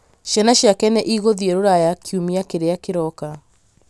ciana ciake nĩ igũthiĩ rũraya kiumia kĩrĩa kĩroka.